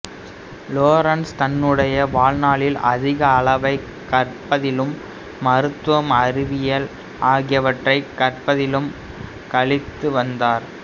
Lorentz தன்னுடைய வாழ்நாளில் அதிக அளவைக் கற்பதிலும் மருத்துவம் அறிவியல் ஆகியவற்றைக் கற்பிப்பதிலும் கழித்து வந்தார்